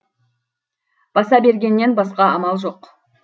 баса бергеннен басқа амал жоқ